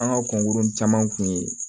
An ka kɔnkurun caman kun ye